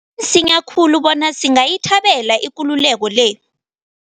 Kusese msinya khulu bona singayithabela ikululeko le.